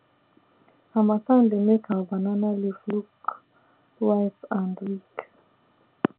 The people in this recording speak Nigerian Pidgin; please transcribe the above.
harmattan dey make our banana leaf look white and weak